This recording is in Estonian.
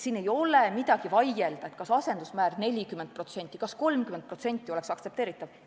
Siin ei ole midagi vaielda, näiteks kas asendusmäär 40% või 30% oleks aktsepteeritav.